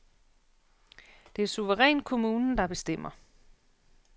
Det er suverænt kommunen, der bestemmer.